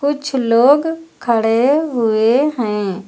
कुछ लोग खड़े हुए हैं।